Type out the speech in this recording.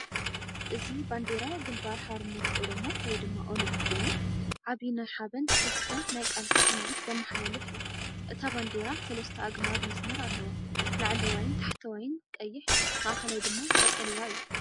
እዚ ባንዴራ ግንባር ሓርነት ኦሮሞ (ኦነግ) ኮይኑ፣ ዓቢይ ናይ ሓበን፣ ተስፋ፣ ናይ ቃልሲ ስምዒት ዘመሓላልፍ እዩ! እታ ባንዴራ ሰለስተ ኣግማድ መስመር ኣለዋ፤ ላዕለዋይን ታሕተዋይን ቀይሕ፡ ማእከላይ ድማ ቀጠልያ እዩ።